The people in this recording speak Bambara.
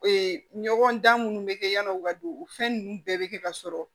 ɲɔgɔn dan minnu bɛ kɛ yann'o ka don o fɛn ninnu bɛɛ bɛ kɛ ka sɔrɔ